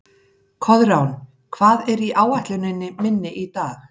Koðrán, hvað er á áætluninni minni í dag?